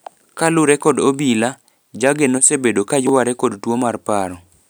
Kalure kod obila, Jage nosebedo ka yware kod tuo mar paro.